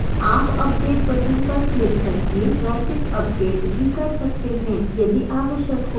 आप update button पर click करके message अपडेट भी कर सकते हैं यदि आवश्यक हो